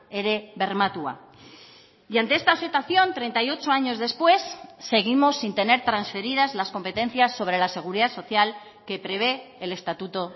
ere bermatua y ante esta situación treinta y ocho años después seguimos sin tener transferidas las competencias sobre la seguridad social que prevé el estatuto